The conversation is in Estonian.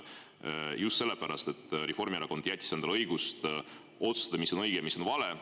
Just sellepärast, et Reformierakond jättis endale õiguse otsustada, mis on õige, mis on vale.